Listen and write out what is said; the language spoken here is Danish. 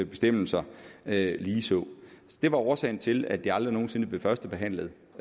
bestemmelser ligeså det var årsagen til at det aldrig nogen sinde blev førstebehandlet